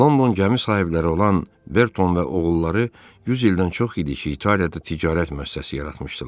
London gəmi sahibləri olan Berton və oğulları 100 ildən çox idi ki, İtaliyada ticarət müəssisəsi yaratmışdılar.